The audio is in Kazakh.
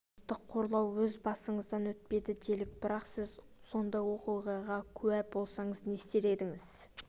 жыныстық қорлау өз басыңыздан өтпеді делік бірақ сіз сондай оқиғаға куә болсаңыз не істер едіңіз